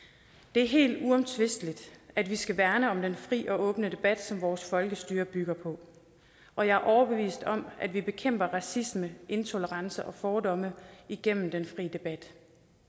det er helt uomtvisteligt at vi skal værne om den fri og åbne debat som vores folkestyre bygger på og jeg er overbevist om at vi bekæmper racisme intolerance og fordomme igennem den fri debat